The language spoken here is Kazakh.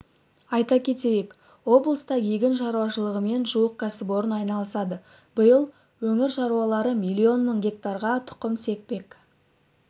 айта кетейік облыста егін шаруашылығымен жуық кәсіпорын айналысады биыл өңір шаруалары миллион мың гектарға тұқым сеппек